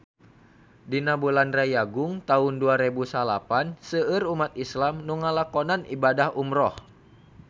Dina bulan Rayagung taun dua rebu salapan seueur umat islam nu ngalakonan ibadah umrah